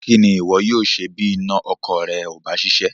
Kí ni ìwọ yóò ṣe bí iná ọkọ̀ rẹ ò bá ṣiṣẹ́?